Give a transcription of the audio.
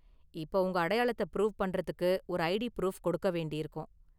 இப்ப உங்க அடையாளத்தை ப்ரூவ் பண்றதுக்கு ஒரு ஐடி ப்ரூஃப் கொடுக்க வேண்டியிருக்கும்.